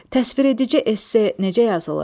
Təsviredici esse necə yazılır?